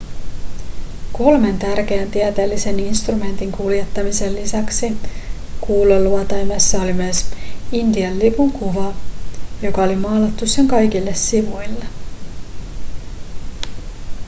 kolmen tärkeän tieteellisen instrumentin kuljettamisen lisäksi kuuluotaimessa oli myös intian lipun kuva joka oli maalattu sen kaikille sivuille